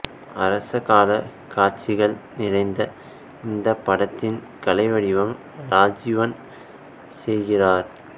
அரசகால காடசிகள் நிறைந்த இந்தப் படத்தின் கலைவடிவம் ராஜீவன் செய்கிறார்